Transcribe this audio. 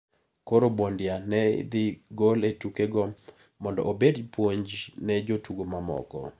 Koro Bondia no idhi gol e tuke go mondo obed puonj ne jotugo mamoko.